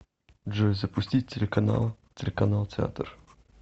джой запустить телеканал телеканал театр